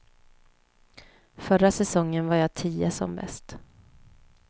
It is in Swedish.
Förra säsongen var jag tia som bäst.